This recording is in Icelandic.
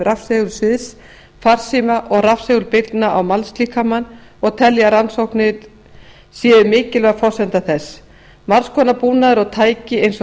rafsegulsviðs farsíma og rafsegulbylgna á mannslíkamann og telja að rannsóknir séu mikilvæg forsenda þess margs konar búnaður og tæki eins og